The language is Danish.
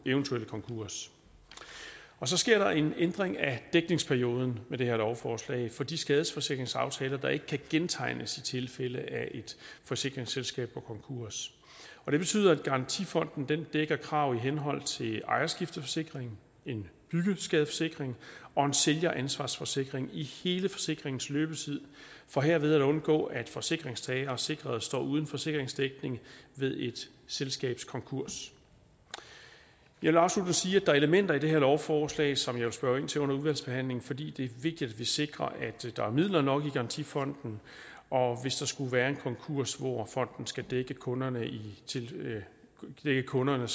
eventuelle konkurs så sker der en ændring af dækningsperioden med det her lovforslag for de skadesforsikringsaftaler der ikke kan gentegnes i tilfælde af at et forsikringsselskab går konkurs det betyder at garantifonden dækker krav i henhold til en ejerskifteforsikring en byggeskadeforsikring og en sælgeransvarsforsikring i hele forsikringens løbetid for herved at undgå at forsikringstagere og sikrede står uden forsikringsdækning ved et selskabs konkurs jeg vil afsluttende sige at der er elementer i det her lovforslag som jeg vil spørge ind til under udvalgsbehandlingen fordi det er vigtigt at vi sikrer at der er midler nok i garantifonden og hvis der skulle være en konkurs hvor fonden skal dække kunderne dække kunderne og